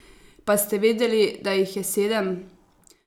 Pa ste vedeli, da jih je sedem?